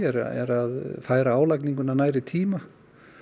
eru að færa álagninguna nær í tíma